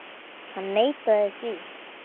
Hann neitaði því.